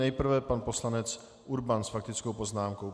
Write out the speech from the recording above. Nejprve pan poslanec Urban s faktickou poznámkou.